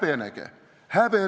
Häbenege!